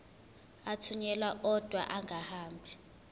athunyelwa odwa angahambi